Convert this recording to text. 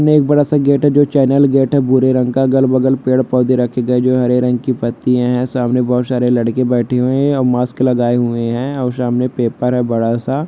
एक बडा सा गेट है जो चैनल गेट है भूरे रंग का अगल बगल पेड़ पौधे रखे गए है जो है हरे रंग की पत्तियां है सामने बोहोत सारे लड़के बैठे हुए हैं और मास्क लगाए हुए हैं और सामने पेपर है बड़ा सा।